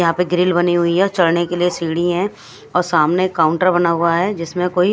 यहाँ पे ग्रिल बनी हुई है चढ़ने के लिए सीढ़ी है और सामने काउंटर बना हुआ है जिसमें कोई --